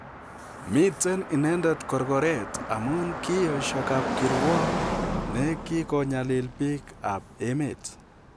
Miten inendet korkoreet amun kiyesyo kapkirwok ne kikonyalil biik ap emet.